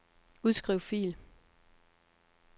Udskriv fil.